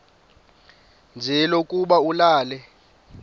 nje lokuba ulale